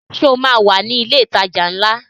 Ṣé o máa wà ní ilé ìtajà ńlá?